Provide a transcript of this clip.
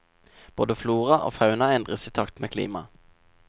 Både flora og fauna endres i takt med klimaet.